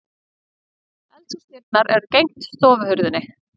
Eldhúsdyrnar eru gegnt stofuhurðinni.